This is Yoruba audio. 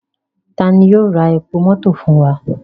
Tani yoo ra epo mọto fun wa?